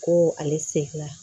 Ko ale se fɛ